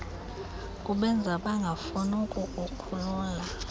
kubenza bangafuni ukukukhulula